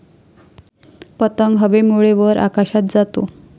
पतंग हवेमुळे वर आकाशात जातो.